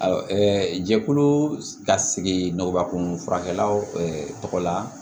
Awɔ jɛkulu ka sigi nɔgɔkun furakɛla tɔgɔ la